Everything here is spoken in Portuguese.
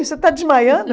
Você tá desmaiando?